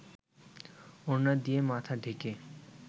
ওড়না দিয়ে মাথা ঢেকে